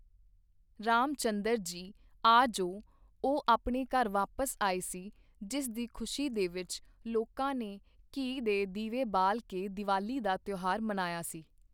ਰਾਮ ਚੰਦਰ ਜੀ ਆ ਜੋ ਉਹ ਆਪਣੇ ਘਰ ਵਾਪਸ ਆਏ ਸੀ ਜਿਸ ਦੀ ਖੁਸ਼ੀ ਦੇ ਵਿੱਚ ਲੋਕਾਂ ਨੇ ਘੀ ਦੇ ਦੀਵੇ ਬਾਲ ਕੇ ਦੀਵਾਲੀ ਦਾ ਤਿਉਹਾਰ ਮਨਾਇਆ ਸੀ।